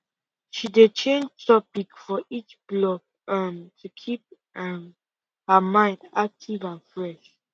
she dey change topic for each block um to keep um her mind active and fresh